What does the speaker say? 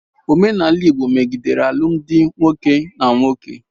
Omenala Igbo megidere alụmdi nwoke na nwoke.